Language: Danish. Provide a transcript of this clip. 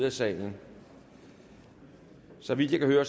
at tale så vidt jeg kan høre